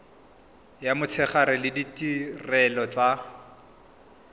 ya motshegare le ditirelo tsa